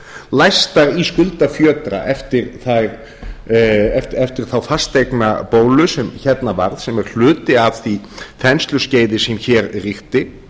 læstar í skuldafjötra eftir þá fasteignabólu sem hérna varð sem er hluti af því þensluskeiði sem hér ríkti